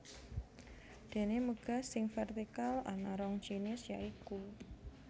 Déné méga sing vértikal ana rong jinis ya iku